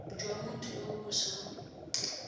jwa motho yo o sa